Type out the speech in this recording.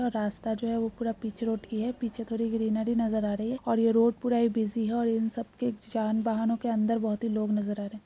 और रास्ता जो है पूरा पीचे पीछे रोड कि है। पीछे थोड़ी ग्रीनरी नजर आ रही है और ये रोड पूरा ही बिजी है और इन सब के जान वाहनों के अंदर बोहोत ही लोग नजर आ रहे हैं।